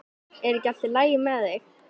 Er ekki allt í lagi með þig?